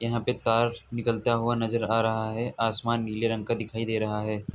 यहाँ पर तार निकलता हुआ नजर आ रहा है। आसमान नीले रंग का दिखाई दे रहा है।